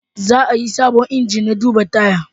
Za a yi sabon inji na duba tayi